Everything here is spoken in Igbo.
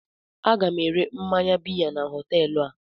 Aga m ere mmanya biya na họteelụ a.